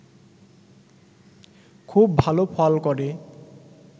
খুব ভালো ফল করে